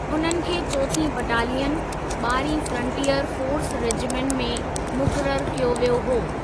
उन्हनि खे चौथीं बटालियन, ॿारहीं फ्रंटियर फोर्स रेजिमेंट में मुक़ररु कयो वियो हो।